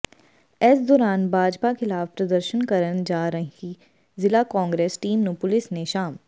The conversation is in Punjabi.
ਇਸ ਦੌਰਾਨ ਭਾਜਪਾ ਖ਼ਿਲਾਫ਼ ਪ੍ਰਦਰਸ਼ਨ ਕਰਨ ਜਾ ਰਹੀ ਜ਼ਿਲ੍ਹਾ ਕਾਂਗਰਸ ਟੀਮ ਨੂੰ ਪੁਲਿਸ ਨੇ ਸ਼ਾਸ